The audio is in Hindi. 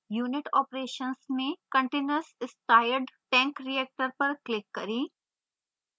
unit operations में continuous stirred tank reactor पर click करें